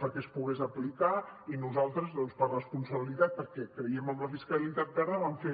perquè es pogués aplicar i nosaltres doncs per responsabilitat perquè creiem en la fiscalitat verda vam fer